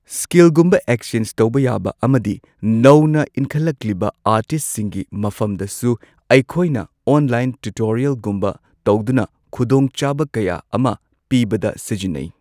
ꯁ꯭ꯀꯤꯜꯒꯨꯝꯕ exchange ꯇꯧꯕ ꯌꯥꯕ ꯑꯃꯗꯤ ꯅꯧꯅ ꯏꯟꯈꯠꯂꯛꯂꯤꯕ ꯑꯥꯔꯇꯤꯁꯁꯤꯡꯒꯤ ꯃꯐꯝꯗꯁꯨ ꯑꯩꯈꯣꯏꯅ ꯑꯣꯟꯂꯥꯏꯟ ꯇ꯭ꯌꯨꯇꯣꯔꯤꯌꯦꯜꯒꯨꯝꯕ ꯇꯧꯗꯨꯅ ꯈꯨꯗꯣꯡ ꯆꯥꯕ ꯀꯌꯥ ꯑꯃ ꯄꯤꯕꯗ ꯁꯤꯖꯤꯟꯅꯩ꯫